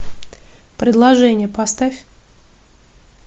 предложение поставь